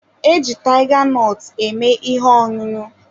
E ji tiga nọt eme ihe ọṅụṅụ.